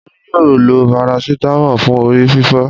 Olú yóò lo parasítámọ̀ fún orí fífọ́.